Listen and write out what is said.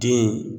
Den